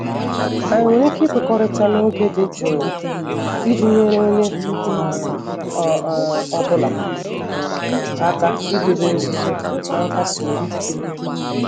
Anyị nwere ike ikwekọrịta n'oge dị jụụ iji nyere onye um ọ um bụla um aka idobe nzuzo na nkasi obi?